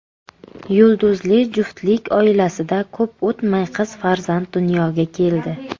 Yulduzli juftlik oilasida ko‘p o‘tmay qiz farzand dunyoga keldi.